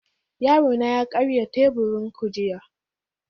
Yarona ya karya teburin ku jiya